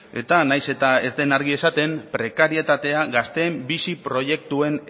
eta nahiz eta ez den argi esaten prekarietatea gazteen bizi proiektuen